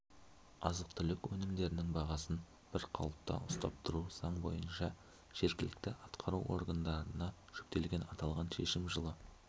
азық-түлік өнімдерінің бағасын бір қалыпта ұстап тұру заң бойынша жергілікті атқару органдарына жүктелген аталған шешім жылы